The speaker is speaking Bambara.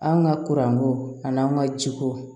An ka kuranko ani an ka jiko